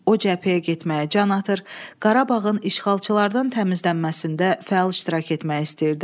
O cəbhəyə getməyə can atır, Qarabağın işğalçılardan təmizlənməsində fəal iştirak etmək istəyirdi.